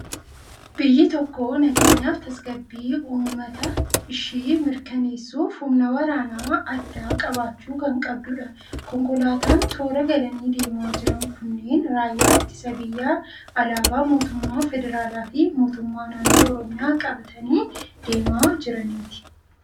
Biyyi tokko nageenyaa fi tasgabbii uummata ishii mirkaneessuuf humna waraana addaa qabaachuu kan qabdudha. Konkolaataan toora galanii deemaa jiran kunneen raayyaa ittisa biyyaa alaabaa mootummaa Federaalaa fi mootummaa naannoo Oromiyaa qabatanii deemaa jiraniiti.